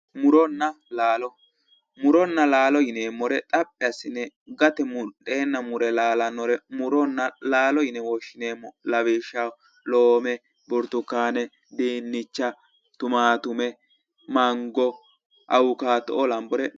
Muronna laalo, muronna laalo yineemmore xaphi assine gate mudheenna muree laalannore muronna laalo yine woshshineemmo lawishshaho loome, burtukkaane, diinnicha ,tumaattume, mango awukaato'oo lambore